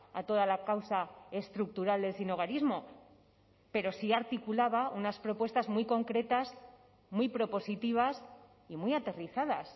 a toda la causa estructural del sinhogarismo pero sí articulaba unas propuestas muy concretas muy propositivas y muy aterrizadas